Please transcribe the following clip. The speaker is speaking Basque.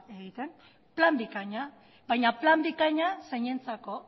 egiten hasteko plan bikaina baina plan bikaina zeinentzako